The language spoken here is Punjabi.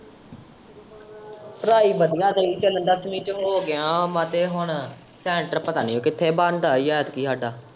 ਪੜ੍ਹਾਈ ਵਧੀਆ ਸਹੀ ਚੱਲਣ ਦਿਆਂ ਦੱਸਵੀਂ ਚ ਹੋ ਗਿਆ ਵਾਂ ਤੇ ਹੁਣ center ਪਤਾ ਨੀ ਕਿੱਥੇ ਬਣਦਾ ਏ ਐਂਤਕੀ ਹਾਡਾ।